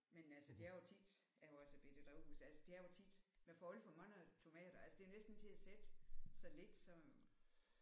Men altså det er jo tit jeg har også et bette drivhus altså det er jo tit man får alt for mange tomater altså det er jo næsten ikke til at sætte så lidt så